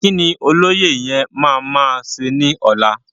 Kíni olóyè yẹn ma máa ṣe ni ọlá?